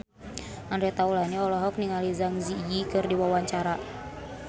Andre Taulany olohok ningali Zang Zi Yi keur diwawancara